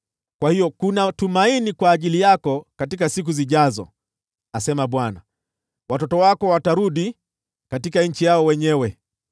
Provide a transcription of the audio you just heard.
Kwa hiyo kuna tumaini kwa siku zijazo,” asema Bwana . “Watoto wako watarudi nchi yao yenyewe.